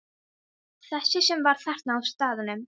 Þessi sem var þarna á staðnum?